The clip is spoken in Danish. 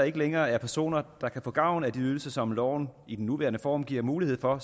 ikke længere er personer der kan få gavn af de ydelser som loven i den nuværende form giver mulighed for